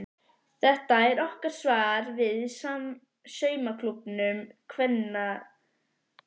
Þetta er okkar svar við saumaklúbbum kvenpeningsins.